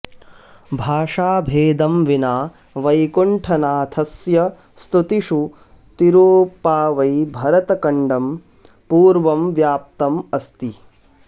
भाषाभेदं विना वैकुण्ठनाथस्य स्तुतिषु तिरुप्पावै भरतकण्डं पूर्णं व्याप्तम् अस्ति